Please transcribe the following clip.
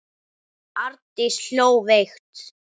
Arndís hló veikt.